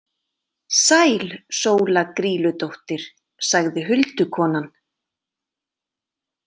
„Sæl Sóla Grýludóttir“ , sagði huldukonan.